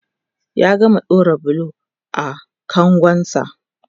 ya gama ɗaura bulo a kangon sa